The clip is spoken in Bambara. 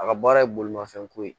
A ka baara ye bolimafɛn ko ye